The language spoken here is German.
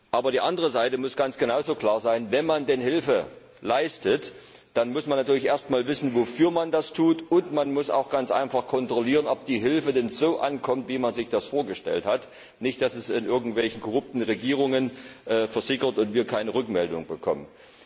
Aber die andere Seite muss ganz genauso klar sein Wenn man denn Hilfe leistet, muss man natürlich erst einmal wissen, wofür man das tut, und man muss auch ganz einfach kontrollieren, ob die Hilfe denn so ankommt, wie man sich das vorgestellt hat, und nicht in irgendwelchen korrupten Regierungen versickert und wir keine Rückmeldung bekommen.